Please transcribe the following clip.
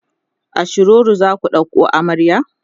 a shiroro zaku ɗauko amarya?